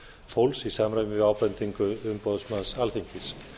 fólks í samræmi við ábendingu umboðsmanns alþingis